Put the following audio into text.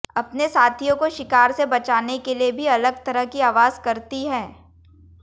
अपने साथियों को शिकार से बचाने के लिए भी अलग तरह की आवाज करती हैं